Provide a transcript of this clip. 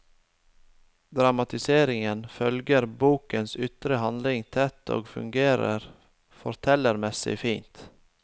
Dramatiseringen følger bokens ytre handling tett og fungerer fortellermessig fint.